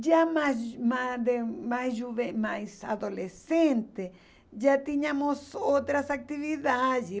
Já mais mais mais juven mais adolescente, já tínhamos outras atividades.